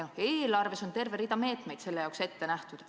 Eelarves on terve rida meetmeid selleks ette nähtud.